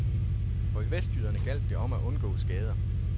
For vestjyderne gjaldt det om at undgå skader.